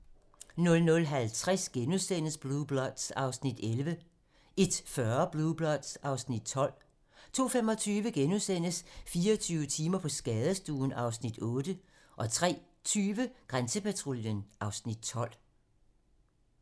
00:50: Blue Bloods (Afs. 11)* 01:40: Blue Bloods (Afs. 12) 02:25: 24 timer på skadestuen (Afs. 8)* 03:20: Grænsepatruljen (Afs. 12)